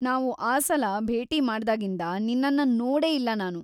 ನಾವು ಆ ಸಲ ಭೇಟಿ ಮಾಡ್ದಾಗಿಂದ ನಿನ್ನನ್ನ ನೋಡೇ ಇಲ್ಲ ನಾನು.